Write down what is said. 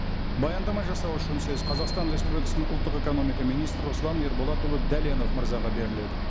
баяндама жасау үшін сөз қазақстан республикасының ұлттық экономика министрі руслан ерболатұлы дәленов мырзаға беріледі